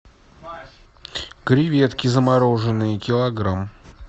креветки замороженные килограмм